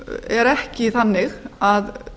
er ekki þannig að